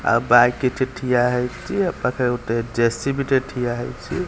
ଆ ବା କିଛି ଠିଆ ହେଇଚି ଏ ପାଖେ ଗୋଟେ ଜେସିବି ଟେ ଠିଆ ହେଇଚି।